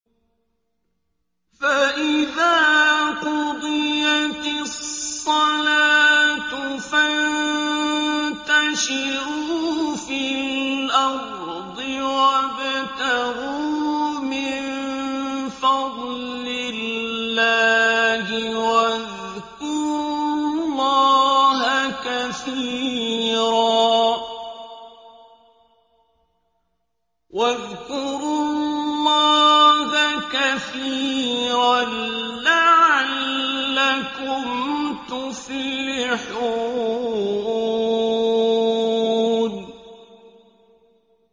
فَإِذَا قُضِيَتِ الصَّلَاةُ فَانتَشِرُوا فِي الْأَرْضِ وَابْتَغُوا مِن فَضْلِ اللَّهِ وَاذْكُرُوا اللَّهَ كَثِيرًا لَّعَلَّكُمْ تُفْلِحُونَ